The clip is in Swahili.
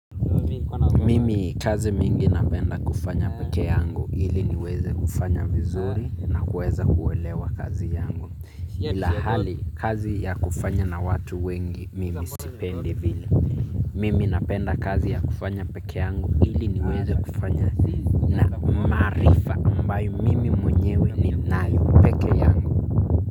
Mimi kazi mingi napenda kufanya peke yangu ili niweze kufanya vizuri na kuweza kuelewa kazi yangu ila hali kazi ya kufanya na watu wengi mimi sipendi vile. Mimi napenda kazi ya kufanya peke yangu ili niweze kufanya na maarifa ambayo mimi mwenyewe ni nayo peke yangu.